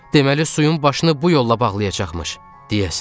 Deməli, suyun başını bu yolla bağlayacaqmış, deyəsən.